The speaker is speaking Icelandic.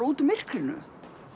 út úr myrkrinu